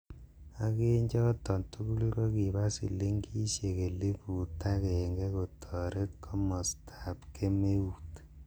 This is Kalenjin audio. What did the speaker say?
Ak en choton tugul, kokiba silingisiek elifut agenge kotoret kobostab kemeut.